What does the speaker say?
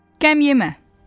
Kəmyemə.